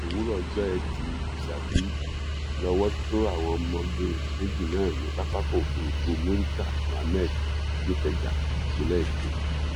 òwúrọ ọjọ etí furcabee lowó tó àwọn ọmọge méjì náà ní pápákọ òfurufú murità mohammed nìkẹja ìpínlẹ èkó